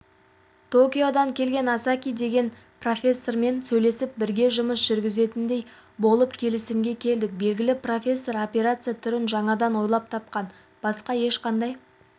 токиодан келген асаки деген профессормен сөйлесіп бірге жұмыс жүргізетіндей болып келісімге келдік белгілі профессор операция түрін жаңадан ойлап тапқан басқа ешқандай